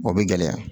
O bɛ gɛlɛya